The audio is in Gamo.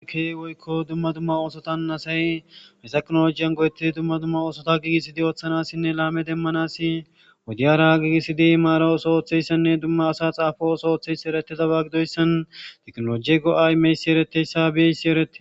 ake woykko dumma dumma oosotan asay misa knolojiyan godettidi dumma dumma oosota gigisidi ooththanasinne laame demmanasi wudiyara gigisidi maara oso ooththeyssenne dumma asa xaafo oso ooththeyssi eretidaba gidoyssan teknoloji go7aymeysi ereteyssa bieysi erete